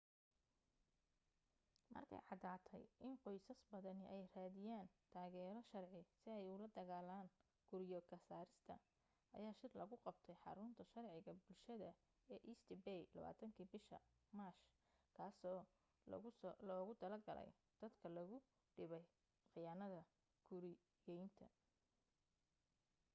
markay caddaatay in qoysas badani ay raadinayaan taageero sharci si ay ula dagaalaan guryo ka saarista ayaa shir lagu qabtay xarunta sharciga bulshada ee east bay 20kii bisha maaj kaasoo loogu talo galay dadka lagu dhibay khiyaanada guriyaynta